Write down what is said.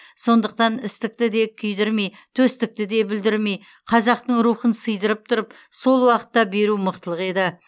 сондықтан істікті де күйдірмей төстікті де бүлдірмей қазақтың рухын сыйдырып тұрып сол уақытта беру мықтылық еді